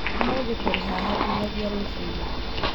ũmũthĩ tũrĩ haha nginyagia rũcinĩ